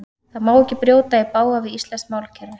Það má ekki brjóta í bága við íslenskt málkerfi.